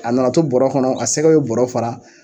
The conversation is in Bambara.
A nana to bɔrɔ kɔnɔ a sɛgɛ be bɔrɔ fara